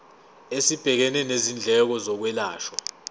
esibhekene nezindleko zokwelashwa